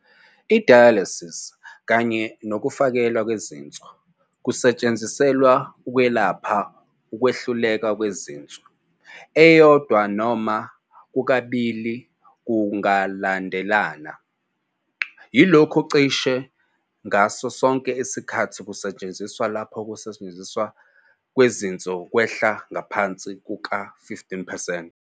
I-dialysis kanye nokufakelwa kwezinso kusetshenziselwa ukwelapha ukwehluleka kwezinso, eyodwa, noma kokubili ngokulandelana, yalokhu cishe ngaso sonke isikhathi kusetshenziswa lapho ukusebenza kwezinso kwehla ngaphansi kuka-15 percent.